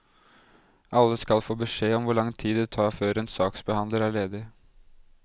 Alle skal få beskjed om hvor lang tid det tar før en saksbehandler er ledig.